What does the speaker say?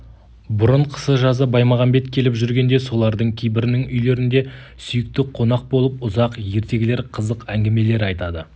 бұрын қысы-жазы баймағамбет келіп жүргенде солардың кейбірінің үйлерінде сүйікті қонақ болып ұзақ ертегілер қызық әңгімелер айтады